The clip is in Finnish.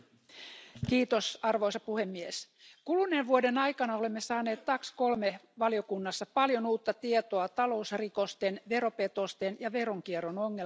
Arvoisa puhemies, kuluneen vuoden aikana olemme saaneet TAX3 valiokunnassa paljon uutta tietoa talousrikosten, veropetosten ja veronkierron ongelman laajuudesta.